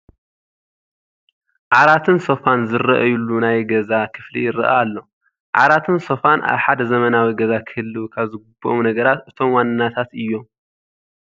ዓራትን ሶፋን ዝርአዩሉ ናይ ገዛ ክፍሊ ይርአ ኣሎ፡፡ ዓራትን ሶፋን ኣብ ሓደ ዘመናዊ ገዛ ክህልዉ ካብ ዝግብኦም ነገራት እቶም ዋናታት እዮም፡፡